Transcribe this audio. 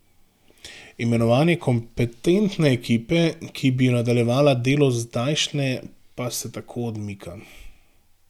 Imenovanje kompetentne ekipe, ki bi nadaljevala delo zdajšnje, pa se tako odmika.